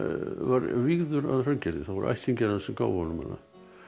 var vígður að Hraungerði það voru ættingjar hans sem gáfu honum hana